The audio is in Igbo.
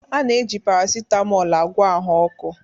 A na-eji paracetamol agwọ ahụ ọkụ